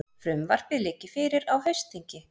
Frumvarpið liggi fyrir á haustþingi